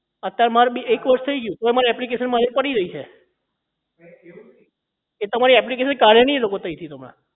અત્યારે મારે એક વર્ષ થઇ ગયું પણ મારી application પડી રહી છે એ તમારી application કાઢે નહીં એ લોકો તહીં થી તમાર